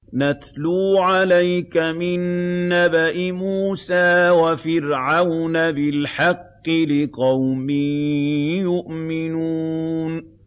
نَتْلُو عَلَيْكَ مِن نَّبَإِ مُوسَىٰ وَفِرْعَوْنَ بِالْحَقِّ لِقَوْمٍ يُؤْمِنُونَ